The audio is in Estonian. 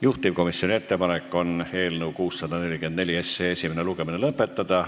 Juhtivkomisjoni ettepanek on eelnõu 644 esimene lugemine lõpetada.